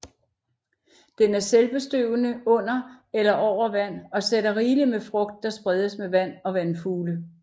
Den er selvbestøvende under eller over vand og sætter rigeligt med frugt der spredes med vand og vandfugle